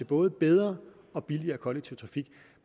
både bedre og billigere kollektiv trafik